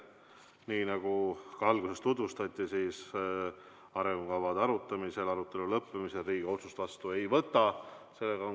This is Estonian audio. Nii nagu ka alguses öeldi, siis arengukava arutelu lõppemisel Riigikogu otsust vastu ei võta.